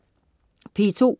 P2: